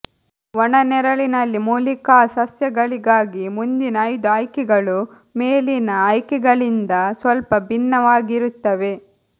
ಒಣ ನೆರಳಿನಲ್ಲಿ ಮೂಲಿಕಾಸಸ್ಯಗಳಿಗಾಗಿ ಮುಂದಿನ ಐದು ಆಯ್ಕೆಗಳು ಮೇಲಿನ ಆಯ್ಕೆಗಳಿಂದ ಸ್ವಲ್ಪ ಭಿನ್ನವಾಗಿರುತ್ತವೆ